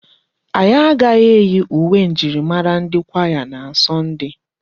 Anyị agaghị eyi uwe njirimara ndi kwaya na Sọnde.